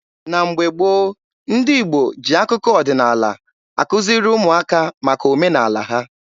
Na mgbe gboo, ndị Igbo ji akụkọ ọdịnaala akuziri ụmụaka maka omenaala ha.